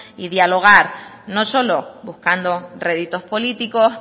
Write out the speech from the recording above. y dialogar no solo buscando réditos políticos